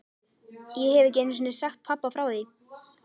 Ég hef ekki einu sinni sagt pabba frá því.